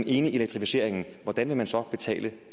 enige i elektrificeringen hvordan vil man så betale